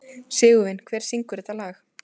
Sigurvin, hver syngur þetta lag?